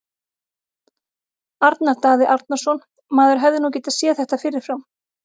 Arnar Daði Arnarsson Maður hefði nú getað séð þetta fyrir fram.